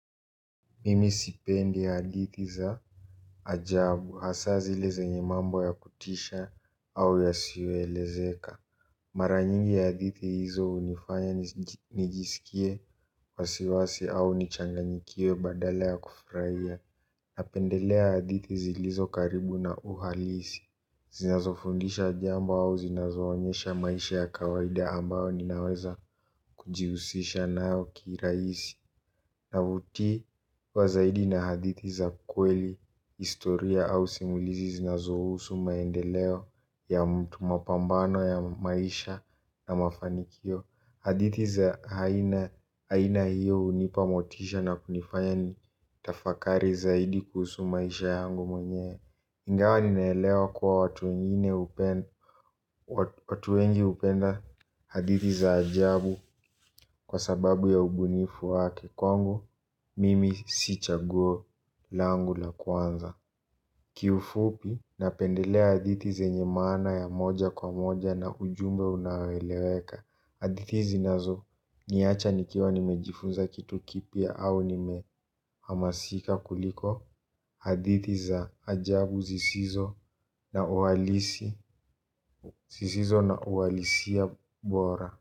Mimi sipendi hadithi za ajabu hasaa zile zenye mambo ya kutisha au yasiyoelezeka. Mara nyingi hadithi hizo unifanya nijisikie wasiwasi au nichanganyikiwe badala ya kufraia. Napendelea hadithi zilizo karibu na uhalisi. Zinazofundisha jambo au zinazoonyesha maisha ya kawaida ambao ninaweza kujiusisha nayo kiiraisi. Navutiwa zaidi na hadithi za kweli, historia au simulizi zinazohusu maendeleo ya mtu mapambano ya maisha na mafanikio. Hadithi za haina aina hiyo unipa motisha na kunifanya ni tafakari zaidi kuhusu maisha yangu mwenyewe. Ingawa ninaelewa kua watu wengi upenda hadithi za ajabu kwa sababu ya ubunifu wake kwangu mimi si chaguo langu la kwanza. Kiufupi napendelea adithi zenye maana ya moja kwa moja na ujumbe unaoeleweka. Adithi zinazo niyacha nikiwa nimejifunza kitu kipya au nime hamasika kuliko adithi za ajabu zisizo na uwalisi zisizo na uwalisia bora.